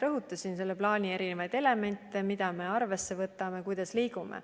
Ma rõhutasin siin selle plaani erinevaid elemente, mida me arvesse võtame, kuidas me liigume.